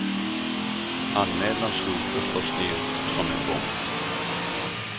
Anmälan slog förstås ner som en bomb.